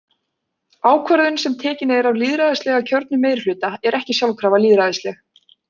Ákvörðun sem tekin er af lýðræðislega kjörnum meirihluta er ekki sjálfkrafa lýðræðisleg.